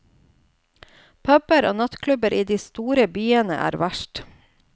Puber og nattklubber i de store byene er verst.